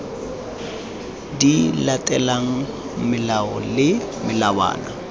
di latelang melao le melawana